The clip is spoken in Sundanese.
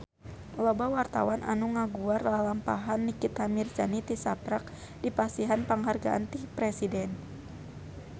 Loba wartawan anu ngaguar lalampahan Nikita Mirzani tisaprak dipasihan panghargaan ti Presiden